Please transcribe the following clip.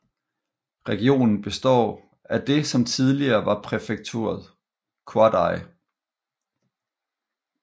Regionen består af det som tidligere var præfekturet Ouaddaï